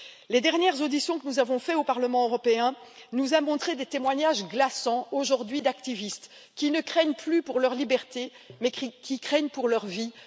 Les dernières auditions que nous avons menées au Parlement européen nous ont montré des témoignages glaçants aujourd'hui d'activistes qui ne craignent plus pour leur liberté mais qui craignent pour leur vie.